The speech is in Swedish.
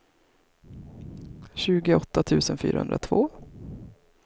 tjugoåtta tusen fyrahundratvå